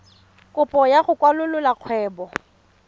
kopo ya go kwalolola kgwebo